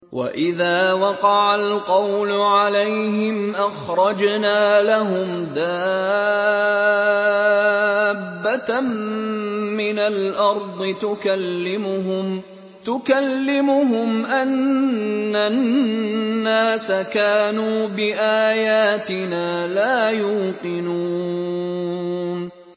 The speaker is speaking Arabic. ۞ وَإِذَا وَقَعَ الْقَوْلُ عَلَيْهِمْ أَخْرَجْنَا لَهُمْ دَابَّةً مِّنَ الْأَرْضِ تُكَلِّمُهُمْ أَنَّ النَّاسَ كَانُوا بِآيَاتِنَا لَا يُوقِنُونَ